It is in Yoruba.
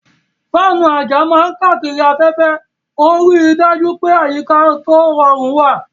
Fáànù àjà máa ń káàkiri afẹ́fẹ́, ó ń rí i dájú pé àyíká tó rọrùn wà.